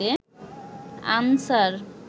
answer